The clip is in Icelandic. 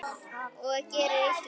Og gerir illt verra.